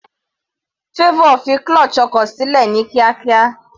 Favour fi clutche ọkọ̀ sílẹ̀ ní kíákíá.